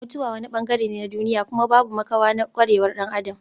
Mutuwa wani bangare ne na duniya kuma babu makawa na kwarewar dan Adam.